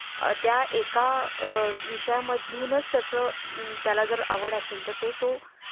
त्या एका अ विषयां मधूनच त्या चं त्याला जर आवड असेल तर ते तो